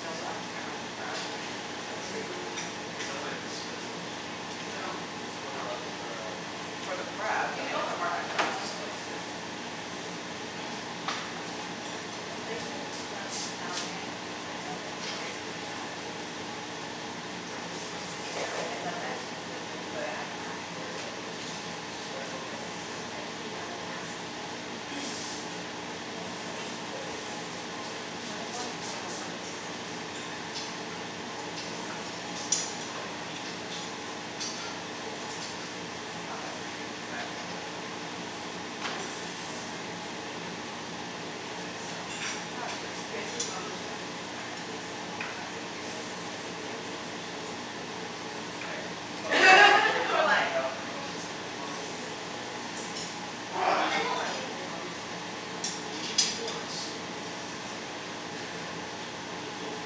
They also have tamarind crab which Oh yeah, it's It so is. Mm. sounds like good an there. expensive restaurant. Mm- It's only mm. forty bucks for uh For the crab. I You can mean go it's for Pho. market The price. Pho is good too. Do I want the ham or do I want The the pork. place in Le Bouguette in Kerrisdale they have really good uh Ben Bo Hue. What is Really. Yeah, that? it's Ben Bo the Hue best is good. Ben Bo Hue I've had. It's like um s- special type of noodles. Spicy lemongrass beef noodles. So good. But we had Ben Bo Hue in Hue. We might as well use up the lettuce. Don't eat it yet! Fine, I'll eat my vegetables. Not that green leaf is that nutritious but whatever What? Green, green, leafy greens are very nutritious. I guess so. Not as good as spinach. Jason's mom was trying to find a place to go for family dinner, we suggested Vietnamese and she's like, "What's there to eat?" Oh yeah you already We're told me like how her mom just, his mom doesn't like Vietnamese food. I bet they don't like it but they probably just think it's like Asian Pho. people are super racist against other Asians. We had a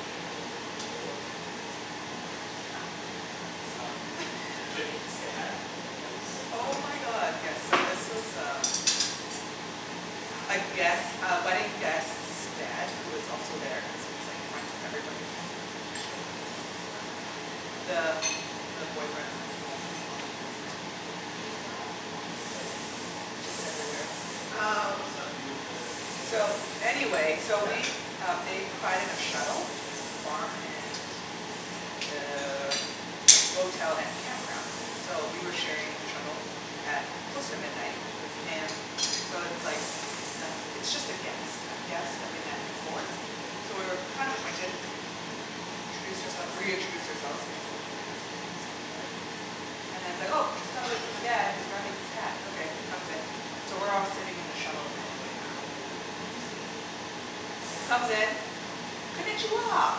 funny conversation over the. Um, Janine's dad. Oh my god, he was so funny Oh my god yes so this was um A After the guest, wedding. a wedding guest's dad who was also there cuz he's like friends with everybody apparently. He just shows up wherever. Yeah. The the boyfriend was like, "Yeah he's omnipresent." He's what? Omnipresent. What Just is that? everywhere. What does, what does that, Oh. what does that have to do with the Anyways So, he anyways so we um they provided a shuttle between the farm and Yeah. Uh the motel and campground so we were sharing the shuttle at close to midnight with him. So it's like the, it's just a guest, a guest that we've met before. So Yeah. we were kind of acquainted. We introduced our- reintroduced ourselves cuz it's been a couple of years since we saw each other. And then he's like, "Oh just gotta wait for the dad, he's grabbing his hat", okay he comes in. So we're all sitting in the shuttle He's van. like completely wasted. Like he was He very drunk. comes in, "Konichiwa!"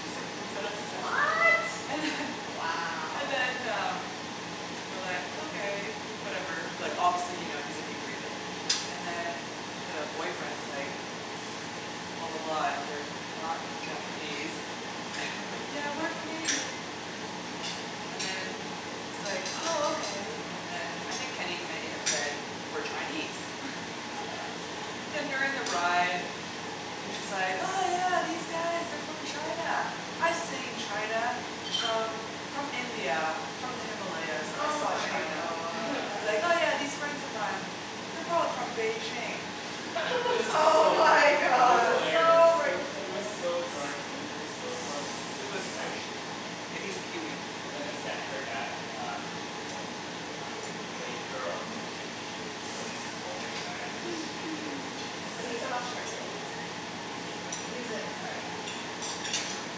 Just like looks at us and- What?! And then Wow. And then um, we were like, okay, whatever, like obviously you know he's inebriated, and then the boyfriend was like, "Blah blah blah they're not Japanese." And I'm We're like, "Yeah we're Canadian. Canadian." And then he's like oh okay. And then I think Kenny may have said we're Chinese Yeah. Then during the ride, he's just like, "Oh yeah these guys are from China, I've seen China from from India, from the Himalayas." I Oh saw my China. god. And he's like, "Yeah yeah, these friends of mine, they're probably from Beijing." It was Oh so funny. my It was god. hilarious. So He was racist! so drunk, Wenny, it was so funny. Does It he, he's was white? actually funny. Yeah he's Kiwi. And then his dad her dad um well um the lady, the girl, her name is Janine, she was just like rolling her eyes just shaking his, shaking her So he's head from Australia, New you said? Zealand. New Zealand, sorry yeah. Mhm.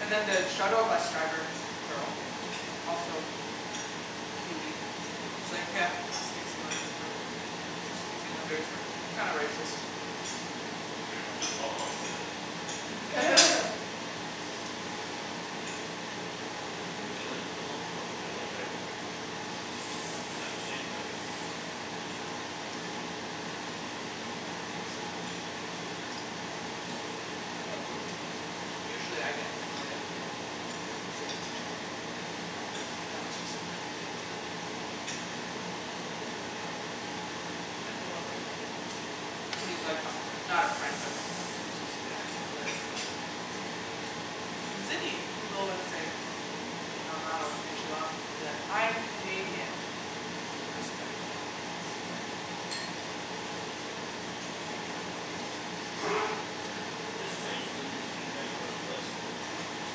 And then the shuttle bus driver girl was also Kiwi. She's like, "Yeah, us New Zealand's, we're, New Zealanders we're, we're kinda racist." Just call them Australians. So like New Zealand belongs to Australia, right? It's like the same country? That was so funny. That was a really good wedding though. Usually I get annoyed at people who say Konichiwa to me, but that was just funny. Probably cuz he was drunk. Mhm. And he was like a fr- not a friend but acquaintance's dad so I let it slide. In Sydney, people would say "Ni Hao Ma" or "Konichiwa" and I'll be like, "I'm Canadian." I would just say that really loud in their face. Or you say, "I dunno what you're saying." It's strange because it's a pretty diverse place so you'd think they'd be used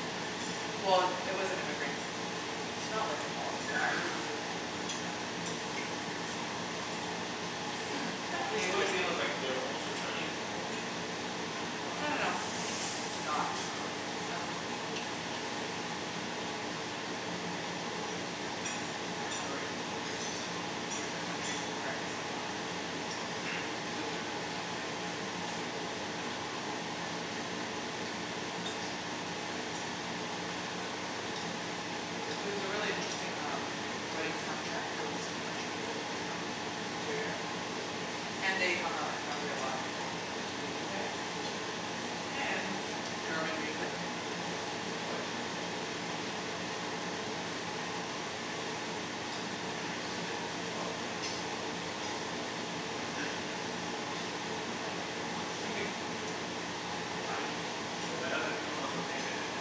to having Well, it was an immigrant. It's not like an Aussie guy who would said that to me. Yeah. Usually immigrants. Mhm. Oh you mean cuz like they're also Chinese and they were hoping you would speak Chinese or No no something? no. Not Chinese, um, Oh. not Asian. I don't wanna race, be racist and name that country, where I think they're from. Cuz you're doing the same thing. Mm. I think I'm full. It was a really interesting um, wedding soundtrack, there was country music cuz you know, interior. Yeah. And they hung out in Calgary a lot like, they went to uni there. Mhm. And German music. Why German music? Cuz they're German. Oh yeah they are German. So they, they probably like what's going on down in States right now. Get the heat off the Germans? Fi- yeah, finally. The world is no longer paying attention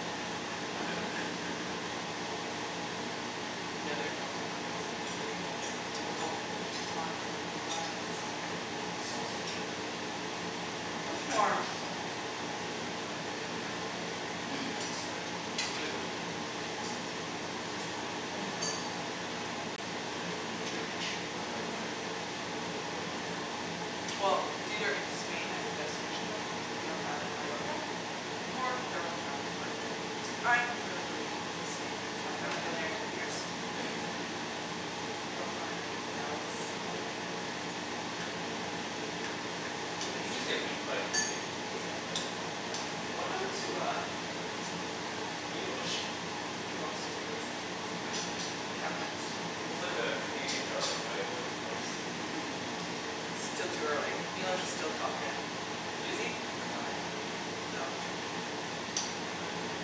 to us. Mhm, yeah they are North Germany so they are very uh, typical, blonde hair blue eyes. Yeah. Eat sausage. That's more South Germany I Is think. it? I have no Yeah, idea. Yeah neither do I. I just said it. We're gonna go to Germany next year though. Nice. When do you go? Um, we don't know yet. june-ish? For a friend's wedding. They don't, they haven't set it yet. Well, it's either in Spain as a destination wedding, it'd be on the island Majorca Or Wow. their homeown their Hamburg. I am really rooting for Spain cuz I haven't been there in ten years. Mhm. Yeah. Rafael Nadal's hometown. Didn't he just get beaten by a Canadian? Yeah. Yeah. What happened to uh, Milos? He lost, Yeah, he early. lost in like his second round. It Yeah, happens he was like the Canadian darling. Now he's been replaced. Still too early, Milos is still top ten. Is Is he? he He's number number five? ten right now. Oh, he dropped to ten. Yeah. Another game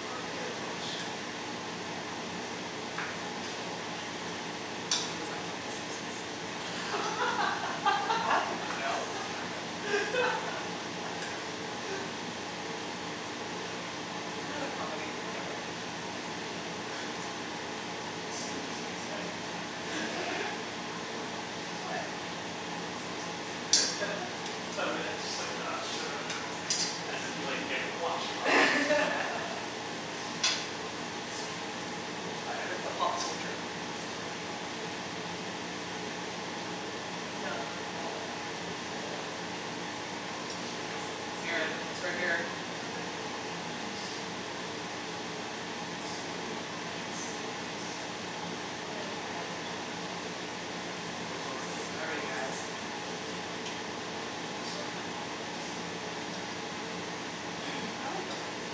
for Milos! Mhm Where's that from, the Simpsons? I dunno! Seinfeld. Seinfield? Another comedy, whatever. Susie just hates to have a good time. What, I like the Simpsons. I meant, just like ugh just another comedy, as if you like, never watch comedies or something. I was trying to be you know, I had with the fun pop once. culture. Are you gonna do another roll? No, I'm full. You're full? I just want more chicken skin. Do it. It's so crispy. Eat Here, it. it's right here. I have it! And Susie wanted to get skinless. It would dry out much quicker. It would get also have skin. cooked a Sorry lot quicker. guys. That's true. Sorry for your whiteness? I like dark meat.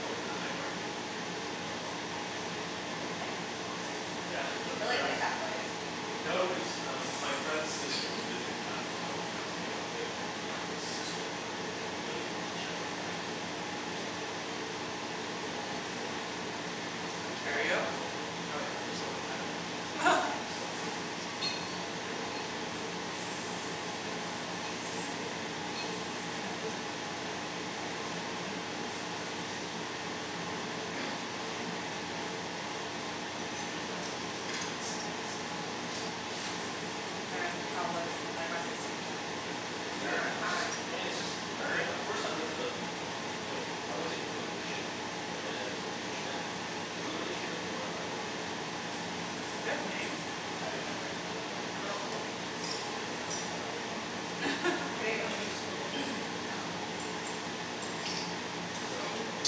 I went to the night market the other day with uh some friends. Again? Again? Yeah, for You the really third like ti- that place. No, cuz um my friend's sister was visiting from out of town and I was hanging out with him and her, his sister really wanted to check out the night market cuz they don't have that in, I think she's from Kingston? Ontario? Ontario? Oh Yeah, yeah, of course they Kingston wouldn't have it. Ontario. So. So That's white. where Queens is right? Mhm. Yep. I've been. And a prison. And a prison. Mhm. Fancy. Mhm. Hah, I was listening to what that sound was. It was just you eating carrots. And how was the night market second time? It was good! Third Third time! It's just, time! I mean it's just I mean, Third? at first I went to the old, like the old wait, I went to Illumination and then, Which one is that? Richmond. Illumination is the one by IKEA. Mm. They have names? I didn't know they had names, I thought they were just called Richmond Night Market, the old one and the new one. I didn't know there was so many. Yeah. So,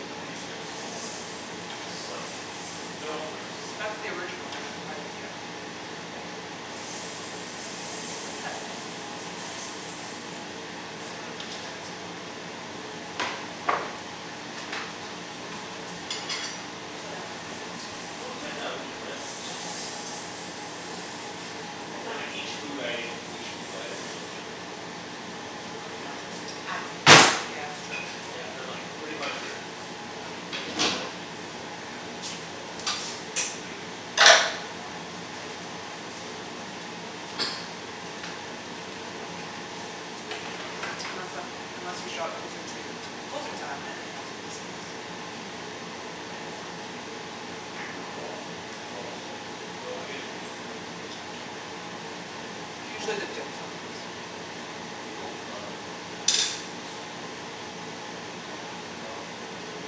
Illuminations is smaller Slightly. I mean, they're all pretty much the same now. That's the original right? By IKEA. Yep. What is that sizzling noise? Is the pan still on the No, I don't think so. So then what happened? It was good yeah, we just went, it's just expensive right. Is it? Yeah. And then like each food item, each food item you're looking at like close to ten bucks, Oh if yeah not more. It adds up quickly. Yeah that's true. Yeah, and then like pretty much your, I mean if you wanted to eat like an actual meal there like if you go there hungry, you're probably gonna buy like, say, three things, so. Mhm. Mhm. Unless uh unless you show up closer to closing time then they have some discounts. How late is that I though? dunno, Twelve. eleven? Twelve is their closing, so I guess if you go around eleven, eleven thirty. People Usually the dim sum ones. People love the skewers. Yeah. And they love the potato.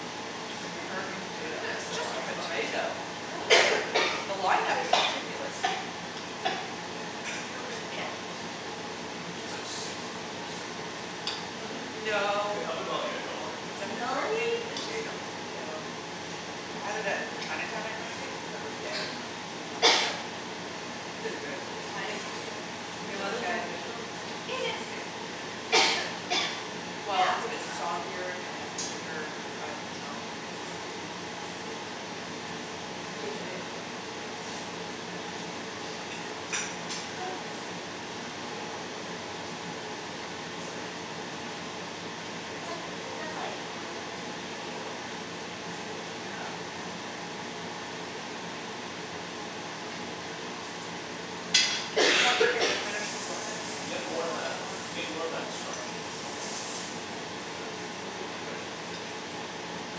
Oh, the freakin hurricane potato It's It's just five bucks. potato, I It's don't get literally it. just The a line up is potato. ridiculous. Are you okay? Yeah. It's like six bucks or seven bucks now. Really? They No. they up it about a dollar every It's a single year. Really? freakin It's just potato. potato. I had it at the Chinatown night market cuz that was dead and like, didn't have a line up. It is good but it's I still had it in just potato. Korea. It Is it was really that good. good though? Isn't it, it just, it's like It is good. potato chips, essentially Mhm. Well, it's a bit soggier and thicker cut Mm. so. It's the seasoning. Seasoning's good. Jason didn't like it Yeah, I can't imagine it being really good. It's good. You'd like it. A seven dollar potato, I don't think It's I'd like it. like, think of like, I guess like potato wedges, just the whole thing is like Yeah, potato wedge. mhm. We need more chicken to finish the rice, You get and I more don't of want a that, whole one. you get more of that starchiness of the potato with that thing. Mhm. Compared to potato Really? chips. Yeah,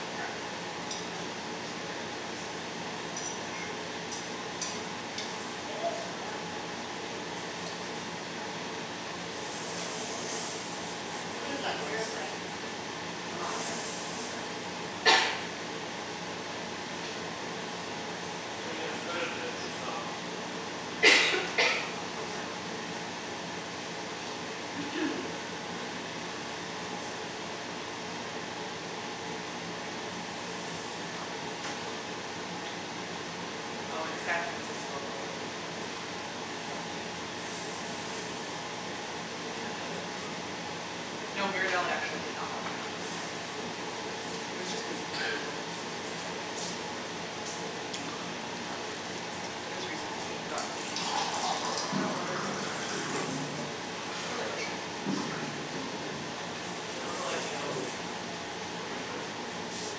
for sure. Cuz potato chips are super crispy. That's not. Mhm. Did it start out in Korea or something? I have a feeling it did. What What they is need that here is noise? like It's nothing. matcha soft serve. Yeah, everything's turned off already. I Okay. mean as good as it is, it's not worth waiting like thirty minutes in line for. Of course, yeah. What did we wait in line for recently? Not you. Was it Oh in here? San Francisco probably. Ghirardelli? No, Ghirardelli actually did not have a line up that time. Oh. It was just busy cuz we were going Christmas time, that was really busy. Yeah, it was a huge lineup. Yeah. It was reasonable. We got, we just like went straight to the counter order, sit down, get a number. Mm. I Really like them. efficient. Yeah, I remember like, you know the, the Richmond night market, the newer one,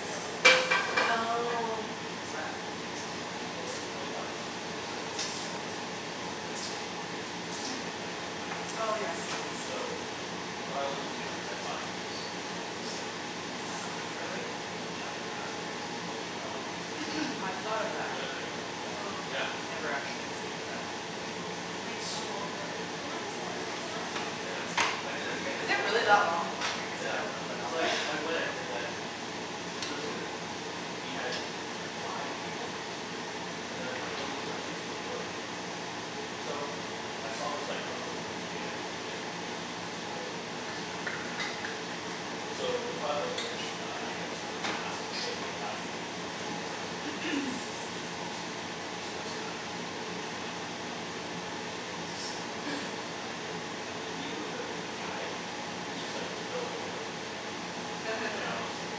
they have those express passes. What's that? Well, for twenty five bucks you get a pass that has seven entrances on there, and you skip the regular line up. Oh yes yes. So what I always do is I find so like, total of seven people. Oh my god, Just really? randomly, and then you buy the pass and then you just go in. For what? On the express I line. thought of that For but the night market. Yeah. Mm. Never actually execute that. You wait so long in line. We had this Water conversation behind last you time. if you Yeah. want some I did it again Is cuz it like really that long, the line? I guess I Yeah, don't go that cuz often. like, I went and then there was a, we had five people and then we were looking for two people to join. So I saw this like couple, this like kid and uh this girl and I guess her boyfriend. So the five of us were like, uh I I just go up and ask, and I was like, "Hey we have five people we need two more and we can, you we can just use the express pass so we each pay like three bucks or whatever, it's the same price." And then immediately the guy he was just like, "No, we don't want it, thanks." And then I was just like,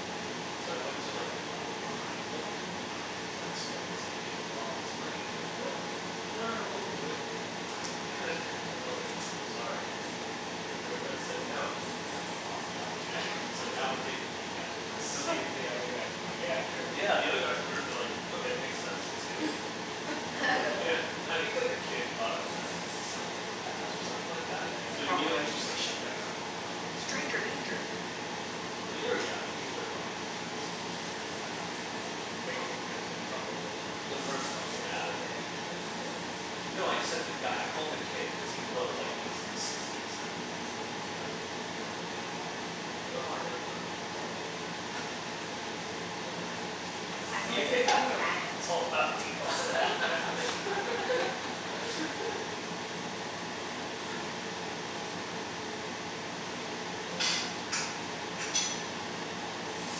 "Okay." So I went to like the couple behind them, I was like, so I explained the same thing and while I was explaining it the girl was like, "No, no, no, we'll do it." And then cuz I was like, "Sorry, your boyfriend said no and uh he lost the opportunity." So now we're taking these guys with us. So the, you, the other guys were like, "Yeah, sure we'll do it." Yeah, the other guys that heard it they were like, "Okay, it makes sense, let's do it." Yeah, I think like the kid thought I was trying to like sell the pass or something like that? So Yeah. immediately he Probably. was just like shutdown, he's like, "No." Stranger danger! Yeah, I mean they were young, I think they were probably in like highschool or something like that. Oh. Wait, the, the couple was in The highschool? first couple But yeah. then they had a kid you said? No, I just said the guy, I called him a kid cuz he looked like he was sixteen, I seventeen. see, I see. Yeah. Uh huh. It's like, "You know how I know you're not gonna to go far in life?" You dunno how to make yeah, deals. it's all about deals. Ugh, man I think I'll have a little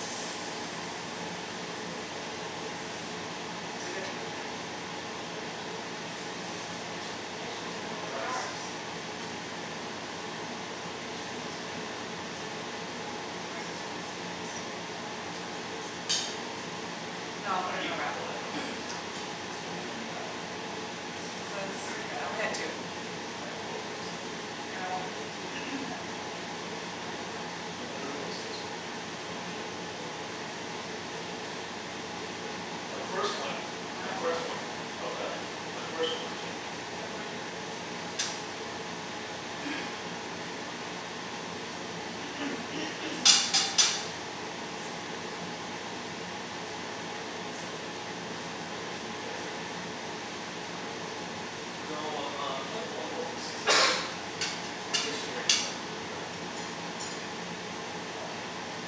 piece of I'm chicken. pretty full. Pretty full as well. Yeah. Maybe I should put the rice in the roll, wrap. Why don't you just eat the It's chicken just with more the rice. carbs. Mhm. It's just rice, it literally cost like two Should I cents. just waste the rice, yeah, fine, I'll just waste the rice, sorry, guys. No, I'll Why put are it in you a wrap, I want a apologizing to wrap. him? You're gonna do one more wrap? Yep Cuz Nice. I yeah, I had only had four, two. I had four wraps. I had three. And I I wanted to had three. eat that pork. The third one was too small. I should've made it as big as the first two. My My last one first was one, really small, my first one, oh but. really? My first one was gigantic. Can I borrow your plate please? Sure. Mine's even cleaner. Okay, I'll take this. Thanks. What are you guys doing for dinner Pass the tonight? dirty one? Do you have a, plans? No, I'm um playing volleyball from six to eight. And yesterday I did my meal prep for the whole week. I made a big pot of uh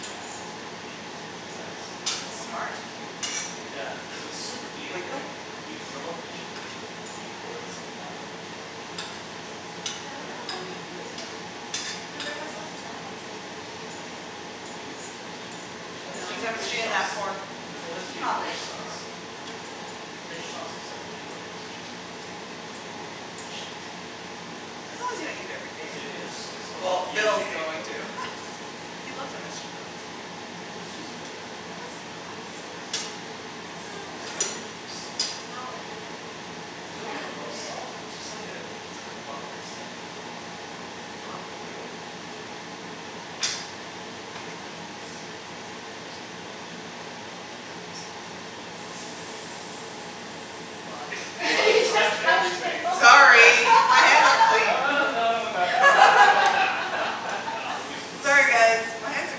Japanese curry chicken. Yum. Nice. The That's one's that smart. are cubed? Yeah, so it's super easy, Glico? right? You grill up the chicken, you pour in some water, you throw in the cubes, and you mix it. Yeah I yeah And then wanna yeah. buy the cubes but I can't bring myself to buy it cuz there's MSG in it. You, there's MSG in everything. There's MSG Threre's No. in MSG fish in that sauce. pork There's MSG in Probably fish in the sauce. pork, but. Fish sauce is like pure MSG, with a little bit of fish. As long as you don't eat it every day. Same Yeah. thing with soy Oh, sauce. Well he is Phil's eating it going every to. day. He loves MSG though, it's different. MSG is good for you. No, it's not. Yes, It's it is. terrible. Well, I There's don't no know. difference from salt. It's not like terrible for you but I It's no try to different from avoid it. salt! It's just like uh it's like a bunk steady. It's Mhm. not real. Well, I'm trying rice, for the first time. Probably tastes like rice. Well Sorry, my hands No are clean. no, no, I don't want that. Yeah, lemme just Sorry massage guys, it. my hands are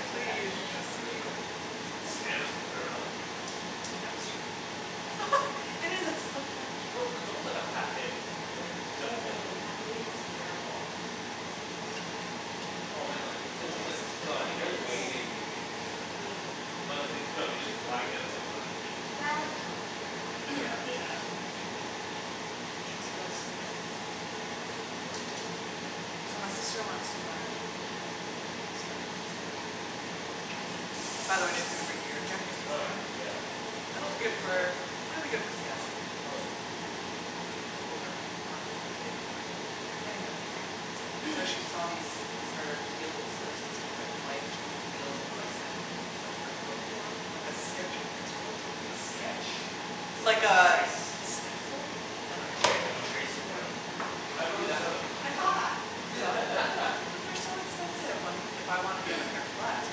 clean, trust me. This ham is good. I dunno how they make this. MSG. No, it's almost like a Pâté. Is it? Except Mm- it's like mm, meat. Pâté is smearable, this is not smearable. No, I mean like, it's almost like, no I The mean the innards? way they Do make you it is like think, a do Pâté. you Mm. Well, they, think they, no they're they just grind up like a bunch of meat. Well, they add like Mm. gelatin or Yeah, and like they add something to make it Mhm, chewy. I know it's so good. Oh now I really want Ben Bo So my Hui. sister wants to buy another Kickstarter thing, she's like, "Oh I really like that jacket." By the way she's gonna bring you your jacket next Oh time. yeah, like from It'll be two good years ago? for, it'll be good for Seattle. It's probably been two years. Mhm. Over, I don't think he's paid her for it. Anywho. So she saw these Kickstarter heels that are supposed to be like life-changing heels, you like send them like your foot form, like a sketch of your foot. A sketch? Just like Like a a, trace? a stencil? I Like a dunno tra- like you trace your foot Mhm. The out. guy You do prolly just that. has a foot I saw that. fetish. You saw it? Mhm. But they're so expensive, like if I want to get a pair of flats,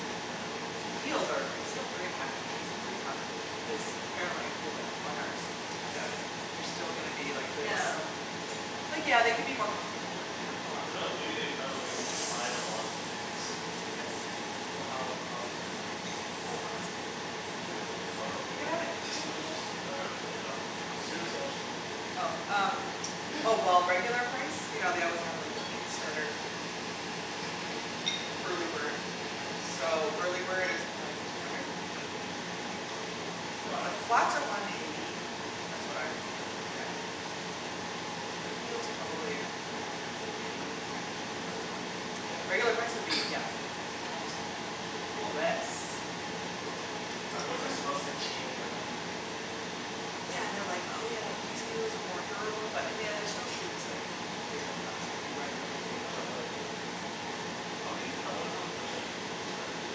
which is what I would do cuz the heels are like still three and half inches, they're pretty high, and this apparently feel like runners, I doubt it. You're still gonna be like this Yeah. Like yeah, they could be more comfortable but they're not gonna last Who forever knows, maybe they found a way to defy the laws of physics. Yes, exactly. So how, how expensive are they? Oh I want some, you can have it. Oh no, go You for can it. have it. Phil, you I can was have just, it. no no no, finish it off. I'm seriously, I was just picking at it. Oh, um, oh well, regular price, you know they always have like the Kickstarter early bird. Yeah. So, early bird is like two hundred? Woo. I think The What flats are one eighty, that's what I really looked at. The heels probably around there, maybe ten twenty dollars more? Yeah. Regular price would be yeah, almost three hundred dollars. Whoa. US, cuz they're made in Brooklyn. I These wonder are w- supposed to change your life? Yeah, and they are like, "Oh yeah, these heels are more durable" but in the end they're still shoes, like how long could they really last if you wear them everyday. I dunno like, how many k- I wonder what the percentage of Kickstarters is,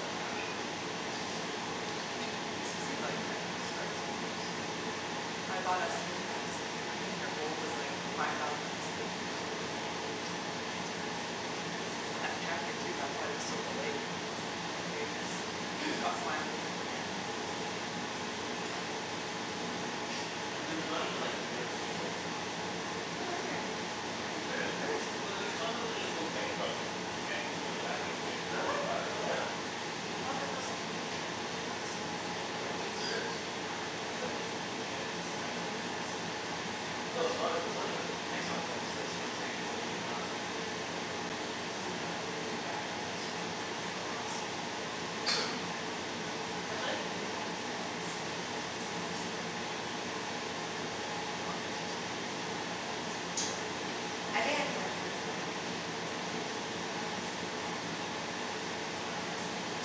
that actually like succeeded. Hmm. They succeed like at the start sometimes. I bought a sleeping mask, I think their goal was like five thousand masks, they sold like twenty thousand, it's crazy. And that jacket too that's why it was so delayed cuz like they just got slammed with the demand and didn't know how much to And there's not even like a guarantee they'll deliver, right? No, there's a guarantee. I don't think there is. There is. Cuz like there's tons of them just go bankrupt and then you can't get your money back and you can't get Really? your product. Really? Yeah. I thought there was some protection, that's what I don't I've think there is. It's uh in the end it's kind of an investment, it's like, "Okay, I'll try- No, it's " not, it's not even an inv- I it's know like, you but that's what I'm saying, just like so you're not protected Yeah because it kind of is, Oh really. you're backing this but there's no guarantee. Oh I see. I was really tempted to buy a pair of like, sneakers off Kickstarter. They were like ninety bucks, I think? And what's so special about them? I think I just like the design and they're supposed to be really light. And that's Mhm. just l- on the market, I was looking for a pair of Oh, sneakers.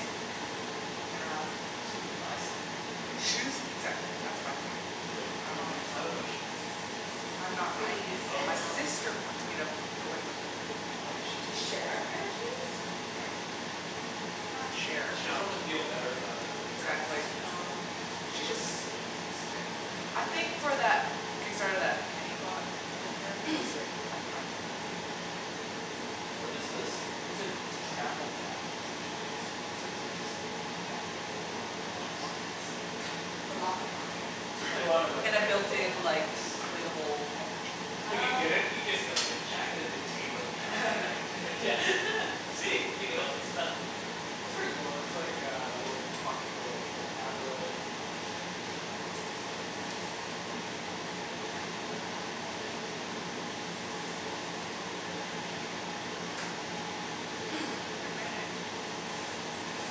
and you didn't end up buying it? Nah. I just wouldn't buy sneakers online Shoes though. exactly, that's my thing. But, I but you were don't just like talking about shoes. I'm not But buying you it. send Oh. My um sister wants me to go in with her. Why does she To need to go share a pair of shoes? Not share, She just no. wants to feel better about her terrible Exactly. decision. Oh. She likes, yeah, s- to spend money I on random think for stuff. that Kickstarter that Kenny bought with her, cuz like you have to buy two or something. What Yeah. is this? It's a travel jacket essentially. It's essentially just like a jacket with a lot of Pouches? pockets. Okay. With lots of pockets? Just like, just like a lot of like, And the random built little in pockets. like inflatable neck cushion? When you Oh get it, you just okay. get like a jacket and they tape like a plastic bag like yeah, see? You can hold stuff. It's pretty cool. There's like uh a little pocket for like, you hold tablet and then there's like uh like um microphone kind of Jack? Microphone jack kinda thing yeah. Pretty cool. A headphone jack? Headphone jacked, yeah. Good marinade. Thank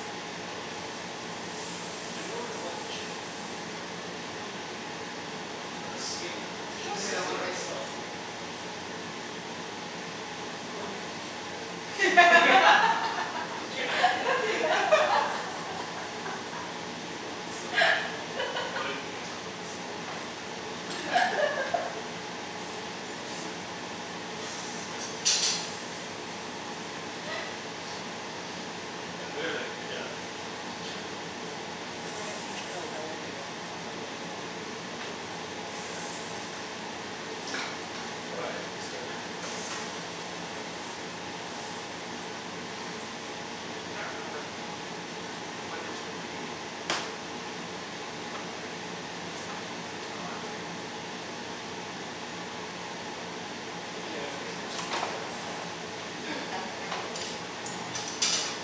you. Mhm. Didn't work as well on the chicken because it didn't have time to Yeah. get in there. Still But the good. skin is Mm, delicious. It and I has want more to eat the salt. skin. Did you Did you Yeah What the, so natural, you're like, "Mmm, I want the skin." Ah, so full. Yeah, good everything, good job. Good job everyone. We're gonna teach Phil Elevator when we go to the living room. Mm. Sure. All right, I'm gonna start cleaning up. Is that about time? Can't remember When we Yeah. started eating. I'll ask. Yeah, well, I mean we could You bring it in. guys didn't Yeah, we use can very start much to bring sauce at stuff all. in. I dunked my rolls in the sauce, they're like